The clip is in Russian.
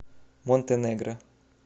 монтенегро